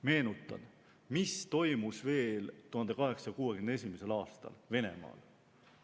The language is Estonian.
Meenutan, mis toimus veel 1861. aastal Venemaal.